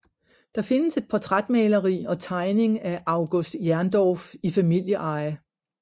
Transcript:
Der findes et portrætmaleri og tegning af August Jerndorff i familieeje